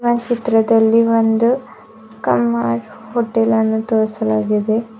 ಆ ಚಿತ್ರದಲ್ಲಿ ಒಂದು ಕಾಮತ್ ಹೋಟೆಲ್ ಅನ್ನು ತೋರಿಸಲಾಗಿದೆ.